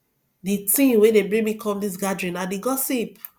the thing wey dey bring me come dis gathering na the gossip